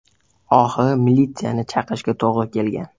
Oxiri militsiyani chaqirishga to‘g‘ri kelgan.